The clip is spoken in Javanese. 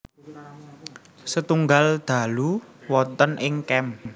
Setunggal dalu wonten ing camp